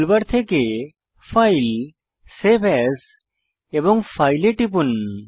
toolbar থেকে file save as এবং file এ টিপুন